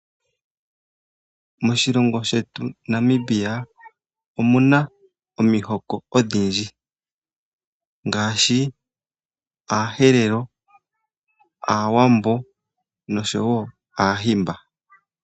Moshilongo shetu Namibia omuna omihoko odhindji ngaashi aaherero, aawambo noshowo aahimba.